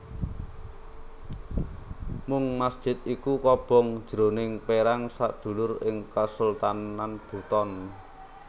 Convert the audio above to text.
Mung masjid iku kobong jroning perang sedulur ing Kasultanan Buton